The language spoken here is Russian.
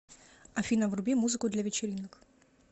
афина вруби музыку для вечеринок